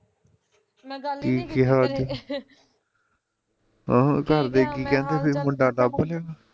ਕੀ ਕਿਹਾ ਅੱਜ ਹਾਂ ਹੁਣ ਘਰਦੇ ਕੀ ਕਹਿੰਦੇ ਫਿਰ ਮੁੰਡਾ ਲੱਭ ਲਿਆ ਵਾਂ